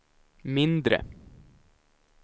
mindre